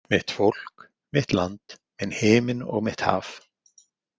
Mitt fólk, mitt land, minn himinn og mitt haf.